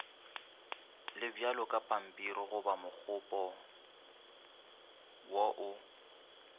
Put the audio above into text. le bjalokapampirigoba mokgopa wo o